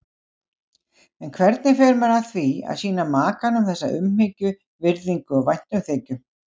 En hvernig fer maður að því að sýna makanum þessa umhyggju, virðingu og væntumþykju?